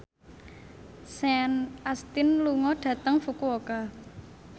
Sean Astin lunga dhateng Fukuoka